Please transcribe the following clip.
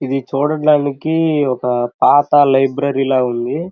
ఇది చూడడానికి ఒక పాత లైబ్రరీ లా ఉంది.